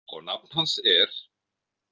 Og nafn hans er.